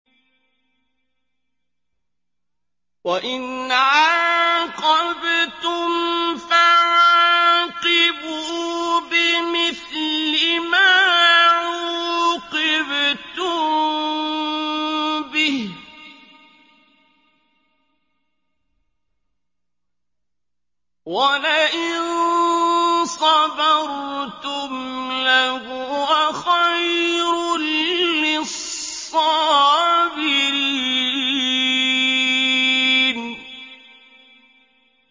وَإِنْ عَاقَبْتُمْ فَعَاقِبُوا بِمِثْلِ مَا عُوقِبْتُم بِهِ ۖ وَلَئِن صَبَرْتُمْ لَهُوَ خَيْرٌ لِّلصَّابِرِينَ